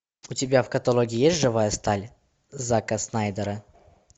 у тебя в каталоге есть живая сталь зака снайдера